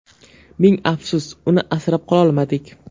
Ming afsus, uni asrab qololmadik.